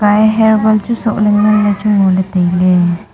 aiye hairband chu sohley nganley tailey.